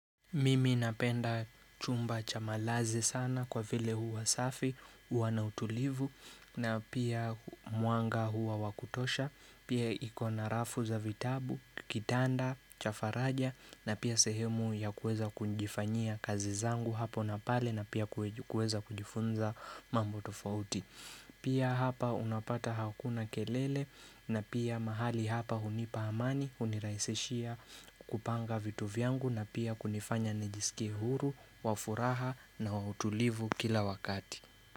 Mimi napenda chumba cha malazi sana kwa vile huwa safi, huwa na utulivu, na pia mwanga huwa wakutosha, pia iko na rafu za vitabu, kitanda, cha faraja, na pia sehemu ya kuweza kujifanyia kazi zangu hapo na pale na pia kuweza kujifunza mambo tofauti. Pia hapa unapata hakuna kelele na pia mahali hapa hunipa amani, hunirahisishia kupanga vitu vyangu na pia kunifanya nijisikie huru, wa furaha na wa utulivu kila wakati.